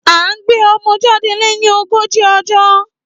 À gbẹ ọmọ jàdẹ leyin ogoji ojo